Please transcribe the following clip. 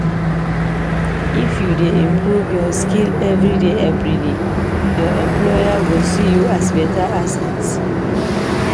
If you dey improve your skill everyday everyday, your employer go see you as beta asset.